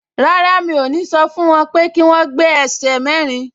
Rárá, mi ò ní sọ fún wọn pé kí wọ́n gbé aṣẹ́ mẹ́rin